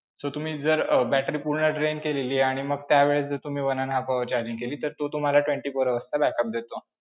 So तुम्ही जर um battery पूर्ण drain केलेली आहे आणि मग त्यावेळेस तुम्ही one and half hours charging केली, तर तो तुम्हाला twenty-four hours चा backup देतो.